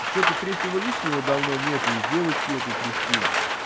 ну что-то третьего лишнего давно нету и девочки этой кристины